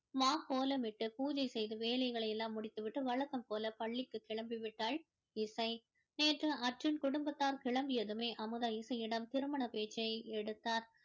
மாகோலமிட்டு பூஜை செய்து வேலைகளை எல்லாம் முடித்துவிட்டு வழக்கம்போல பள்ளிக்கு கிளம்பி விட்டாள் இசை நேற்று அர்ஜுன் குடும்பத்தார் கிளம்பியதுமே அமுதா இசையிடம் திருமண பேச்சை எடுத்தாள்